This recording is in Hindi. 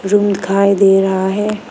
रूम दिखाई दे रहा है।